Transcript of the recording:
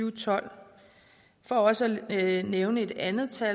og tolv for også at nævne et andet tal